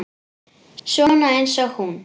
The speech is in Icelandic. Svona eins og hún?